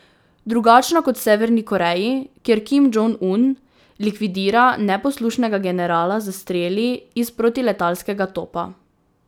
Drugačna kot v Severni Koreji, kjer Kim Džong Un likvidira neposlušnega generala s streli iz protiletalskega topa.